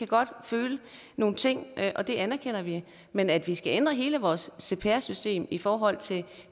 godt føle nogle ting og det anerkender vi men at vi skal ændre hele vores cpr system i forhold til